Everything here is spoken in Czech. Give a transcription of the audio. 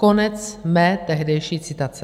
Konec mé tehdejší citace.